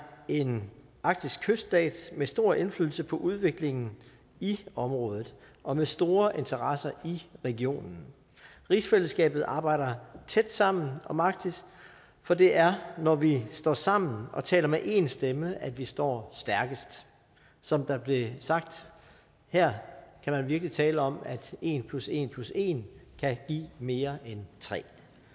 en arktisk kyststat med stor indflydelse på udviklingen i området og med store interesser i regionen rigsfællesskabet arbejder tæt sammen om arktis for det er når vi står sammen og taler med én stemme at vi står stærkest som der blev sagt her kan man virkelig tale om at en plus en plus en kan give mere end tre